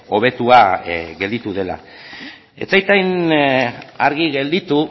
hobetua gelditu dela ez zait hain argi gelditu